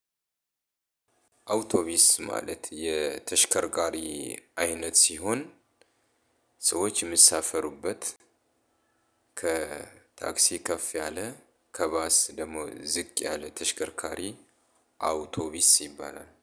አውቶቢስ ማለት የተሽከርካሪ አይነት ሲሆን ሰዎች የማሳፈሩበት ከታክሲ ከፍ ያለ ከባስ ደግሞ ዝቅ ያለ ተሽከርካሪ አውቶቢስ ይባላል።